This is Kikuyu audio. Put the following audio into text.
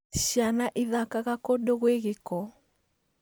Ciana ithakaga kũndũ gwĩ gĩko